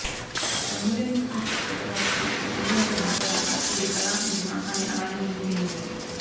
గంగూలీని చూసిన శ్రద్ధాదాస్ కు నోటి వెంట మాట రాక ఇది కల నిజమా అని అలానే ఉండిపోయింది